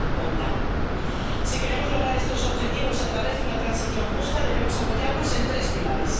en 2050. Si queremos lograr estos objetivos a través de una transición justa, debemos apoyarnos en tres pilares.